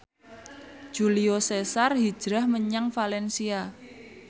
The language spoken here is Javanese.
Julio Cesar hijrah menyang valencia